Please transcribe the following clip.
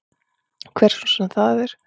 Hver sem það svo er.